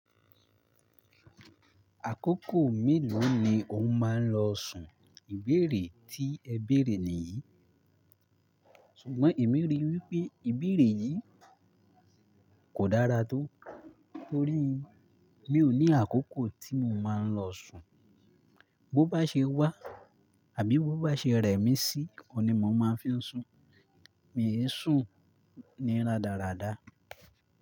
Àkókò mélòó ni o máa ń lọ sùn ìbéèrè tí ẹ béèrè níyì? Ṣùgbọ́n èmi rí i wípé ìbéèrè yìí kò dára tó, torí mi ò ní àkókò tí mo máa ń lọ sùn. Bo bá ṣe wá àbí bo bá ṣe rẹ́ mi sí, òní mo máa fi ń sùn. Mi ẹ sùn ní rádaràda.